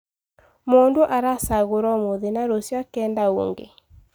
Mũndũ aracagorwo ũmũthĩ na rũcio akenda ũngĩ.